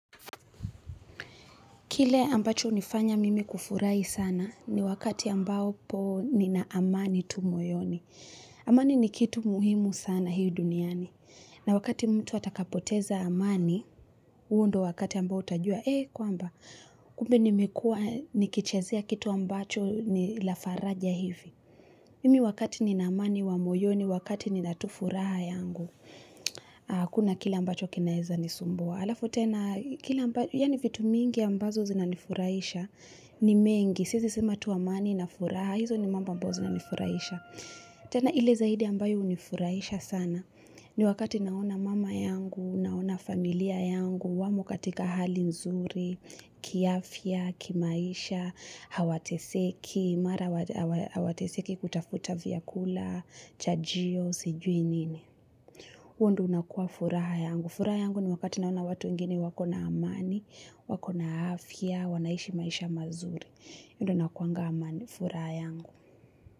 Kile ambacho hunifanya mimi kufurahi sana ni wakati ambapo nina amani tu moyoni. Amani ni kitu muhimu sana hii duniani. Na wakati mtu atakapoteza amani, huo ndio wakati ambao utajua, ee kwamba, kumbe nimekua nikichezea kitu ambacho ni la faraja hivi. Mimi wakati nina amani wa moyoni, wakati nina tu furaha yangu, hakuna kile ambacho kinaeza nisumbua. Halafu tena, kila ambayo, yaani vitu mingi ambazo zinanifurahisha, ni mengi, siezi sema tu amani na furaha, hizo ni mambo ambao zinanifurahisha. Tena ile zaidi ambayo hunifurahisha sana, ni wakati naona mama yangu, naona familia yangu, wamo katika hali nzuri, kiafya, kimaisha, hawateseki, mara hawateseki kutafuta vyakula, chajio, sijui nini. Huo ndio unakuwa furaha yangu furaha yangu ni wakati naona watu wengini wako na amani, wako na afya wanaishi maisha mazuri hio ndio inakuwanga amani furaha yangu.